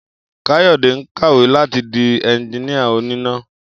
Káyò̩dé ń kàwé láti di enjiníà oníná